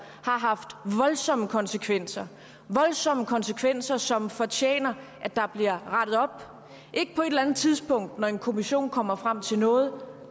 har haft voldsomme konsekvenser voldsomme konsekvenser som fortjener at blive rettet op ikke på et eller andet tidspunkt når en kommission kommer frem til noget